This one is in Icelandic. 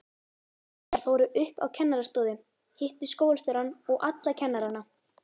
Þær fóru upp á kennarastofu, hittu skólastjórann og alla kennarana.